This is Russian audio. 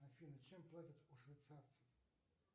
афина чем платят у швейцарцев